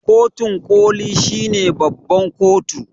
kotun koli shine babban kotu